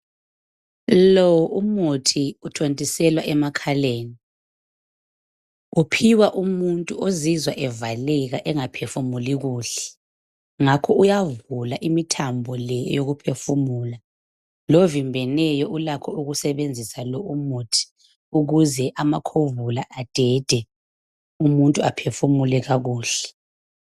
Lo umuthi uthontiselwa emakhaleni, uphiwa umuntu ozizwa evaleka engaphefumuli kuhle ngakho uyavula imithambo le eyokuphefumula. Lovimbeneyo ulakho ukusebenzisa lo umuthi ukuze amakhovula adede, umuntu aphefumule kakuhle.